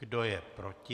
Kdo je proti?